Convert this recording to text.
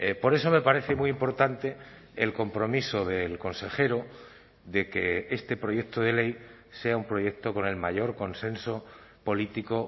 por eso me parece muy importante el compromiso del consejero de que este proyecto de ley sea un proyecto con el mayor consenso político